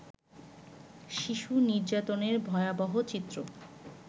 শিশু নির্যাতনের ভয়াবহ চিত্র